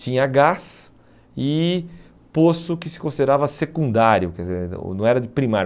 Tinha gás e poço que se considerava secundário, quer dizer, não era primário.